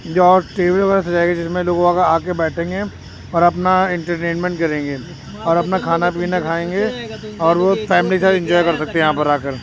जो टी.वी. सजाई है जिसमें लोग आके बैठेंगे और अपना इंटरटेनमेंट करेंगे और अपना खाना पीना खाएंगे और वो फैमिली के साथ इन्जॉय कर सकते है यहाँ पर आकर।